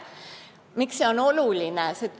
Miks see oluline on?